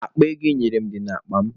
Akpa ego ị nyere m dị n'akpa m.